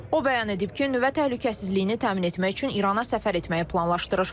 O bəyan edib ki, nüvə təhlükəsizliyini təmin etmək üçün İrana səfər etməyi planlaşdırır.